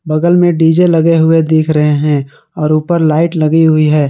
बगल में डी_जे लगे हुए दिख रहे हैं और ऊपर लाइट लगी हुई है।